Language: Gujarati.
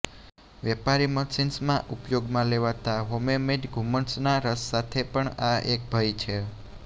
વેપારી મશિન્સમાં ઉપયોગમાં લેવાતા હોમમેઇડ ધુમ્મસના રસ સાથે પણ આ એક ભય છે